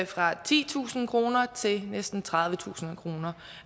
fra titusind kroner til næsten tredivetusind kroner